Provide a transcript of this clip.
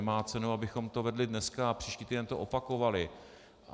Nemá cenu, abychom to vedli dneska a příští týden to opakovali.